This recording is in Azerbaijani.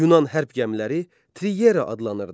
Yunan hərb gəmiləri triyera adlanırdı.